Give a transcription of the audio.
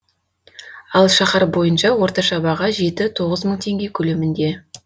ал шаһар бойынша орташа баға жеті тоғыз мың теңге көлемінде